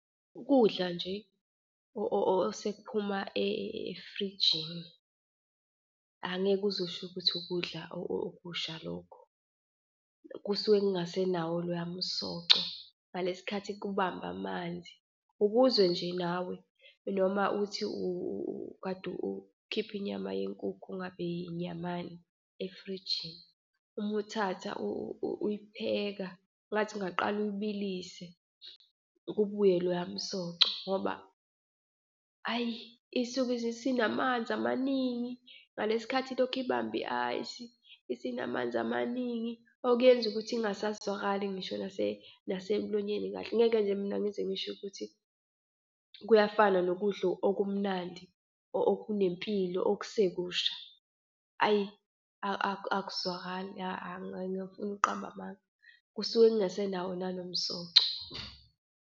Ukudla nje osekuphuma efrijini, angeke uze usho ukuthi ukudla okusha lokho. Kusuke kungase nawo loya msoco ngalesi khathi kubamba amanzi, ukuzwe nje nawe. Noma uthi kade ukhipha inyama yenkukhu ingabe inyamani efrijini, uma uthatha uyipheka ngathi ungaqala uyibilise kubuye loya msoco, ngoba hayi isuke isinamanzi amaningi. Ngalesi khathi lokhu ibambe i-ice isinamanzi amaningi okuyenza ukuthi ingazwakali ngisho nasemlonyeni kahle. Ngeke nje mina ngize ngisho ukuthi kuyafana nokudla okumnandi okunempilo okusekusha. Ayi akuzwakali angifuni ukuqamba amanga, kusuke kungasenawo nanomsoco.